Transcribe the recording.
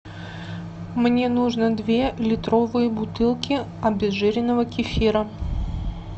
мне нужно две литровые бутылки обезжиренного кефира